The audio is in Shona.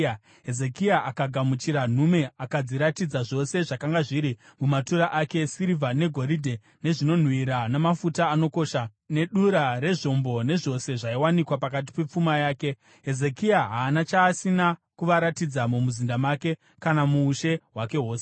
Hezekia akagamuchira nhume akadziratidza zvose zvakanga zviri mumatura ake, sirivha negoridhe, nezvinonhuhwira, namafuta anokosha, nedura rezvombo nezvose zvaiwanikwa pakati pepfuma yake. Hezekia haana chaasina kuvaratidza mumuzinda make kana muushe hwake hwose.